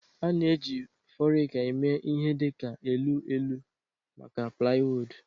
A na-eji forica eme ihe dị ka elu elu maka plywood